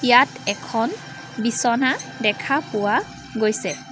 ইয়াত এখন বিছনা দেখা পোৱা গৈছে।